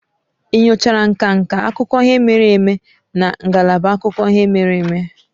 Ị nyochara nka nka akụkọ ihe mere eme na ngalaba akụkọ ihe mere eme?